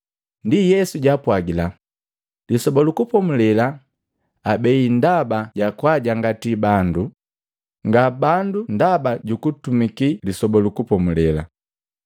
Ndi Yesu jaapwagila, “Lisoba lu Kupomulela abei ndaba jakwaajangatii bandu, nga bandu ndaba jukutumiki Lisoba lu Kupomulela.